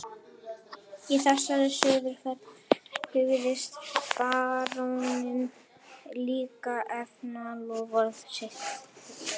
Í þessari suðurferð hugðist baróninn líka efna loforð sitt við